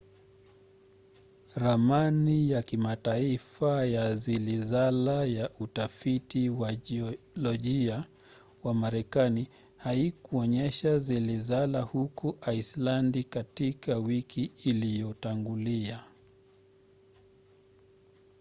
ramani ya kimataifa ya zilizala ya utafiti wa jiolojia wa marekani haikuonyesha zilizala huko aisilandi katika wiki iliyotangulia